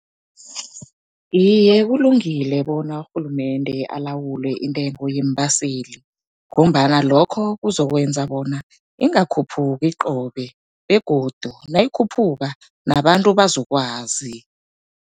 Iye, kulungile bona urhulumende alawule intengo yeembaseli, ngombana lokho kuzokwenza bona ingakhuphuki qobe. Begodu nayikhuphuka nabantu bazokwazi.